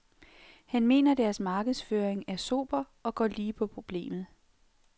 Han mener deres markedsføring er sober og går lige på problemet.